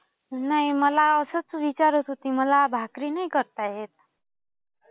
नाही. मला असंच विचारत होती. मला भाकरी नाही करता येत.